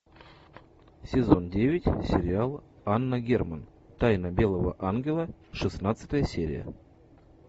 сезон девять сериал анна герман тайна белого ангела шестнадцатая серия